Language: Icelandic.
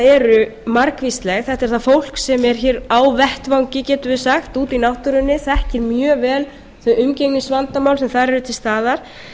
eru margvísleg þetta er það fólk sem er hér á vettvangi getum við sagt úti í náttúrunni þekkir mjög vel þau umgengnisvandamál sem þar eru til staðar